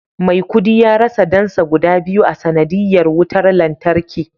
maikudi ya rasa dansa guda biyu a sanadiyyar wutar lantarki